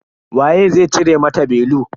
Waye zai cire mata belu.